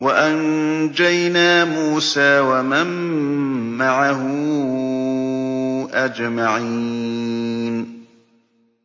وَأَنجَيْنَا مُوسَىٰ وَمَن مَّعَهُ أَجْمَعِينَ